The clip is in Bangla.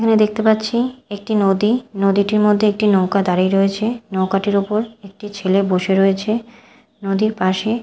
এখানে দেখতে পাচ্ছি একটি নদী নদীটির মধ্যে একটি নৌকা দাঁড়িয়ে রয়েছে নৌকাটির ওপর একটি ছেলে বসে রয়েছে নদীর পাশে--